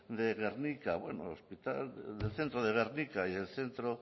de gernika bueno el hospital del centro de gernika y del centro